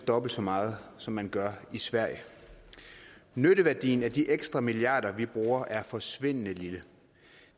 dobbelt så meget som man gør i sverige nytteværdien af de ekstra milliarder vi bruger er forsvindende lille